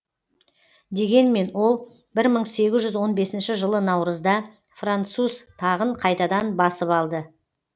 дегенмен ол бір мың сегіз жүз он бесінші жылы наурызда француз тағын қайтадан басып алды